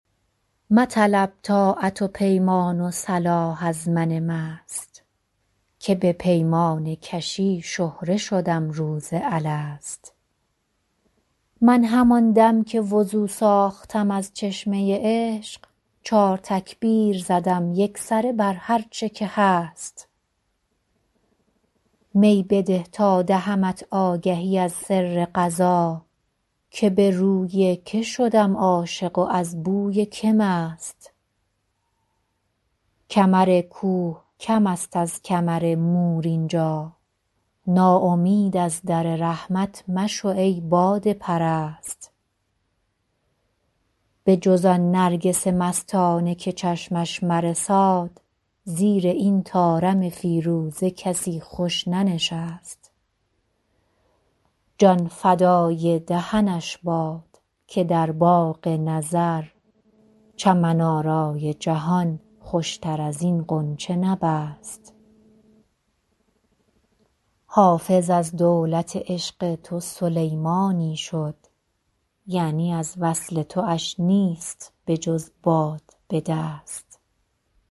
مطلب طاعت و پیمان و صلاح از من مست که به پیمانه کشی شهره شدم روز الست من همان دم که وضو ساختم از چشمه عشق چار تکبیر زدم یکسره بر هرچه که هست می بده تا دهمت آگهی از سر قضا که به روی که شدم عاشق و از بوی که مست کمر کوه کم است از کمر مور اینجا ناامید از در رحمت مشو ای باده پرست بجز آن نرگس مستانه که چشمش مرساد زیر این طارم فیروزه کسی خوش ننشست جان فدای دهنش باد که در باغ نظر چمن آرای جهان خوشتر از این غنچه نبست حافظ از دولت عشق تو سلیمانی شد یعنی از وصل تواش نیست بجز باد به دست